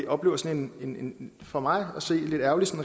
oplever sådan en for mig at se lidt ærgerlig